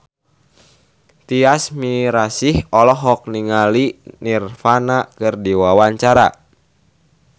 Tyas Mirasih olohok ningali Nirvana keur diwawancara